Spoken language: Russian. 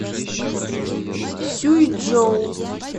сюйчжоу